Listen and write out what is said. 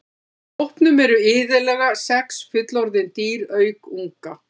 Í hópnum eru iðulega sex fullorðin dýr auk unga.